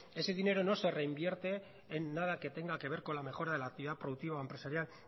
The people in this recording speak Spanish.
ese dinero no se reinvierte en nada que tenga que ver con la mejora de la actividad productiva o empresarial